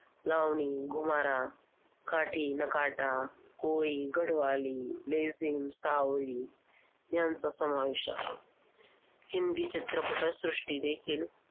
लावणी, घुमारा, काढी, नकाटा, कोळी, घडवाली, बेसिंग, साहोरी यांचा समावेश आहे. हिंदी चित्रपटसृष्टी देखील